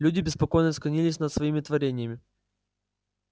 люди беспокойно склонились над своим творением